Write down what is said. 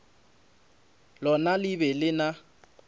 lona le be le na